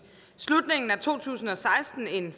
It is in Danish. slutningen af to tusind og seksten en